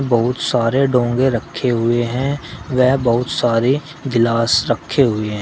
बहुत सारे डोंगे रखे हुए हैं व बहुत सारे गिलास रखे हुए हैं।